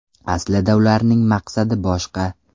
Aslida ularning maqsadi boshqa.